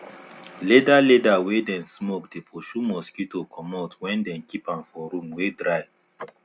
leather leather wey dem smoke dey pursue mosquito comot when dem keep an for room wey dry